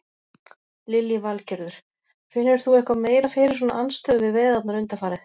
Lillý Valgerður: Finnur þú eitthvað meira fyrir svona andstöðu við veiðarnar undanfarið?